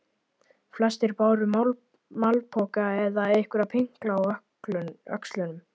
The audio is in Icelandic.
Flestir báru malpoka eða einhverja pinkla á öxlunum.